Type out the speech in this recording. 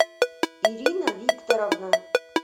ирина викторовна